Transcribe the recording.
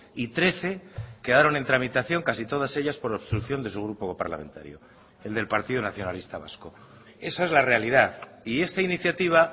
y trece quedaron en tramitación casi todas ellas por obstrucción de su grupo parlamentario el del partido nacionalista vasco esa es la realidad y esta iniciativa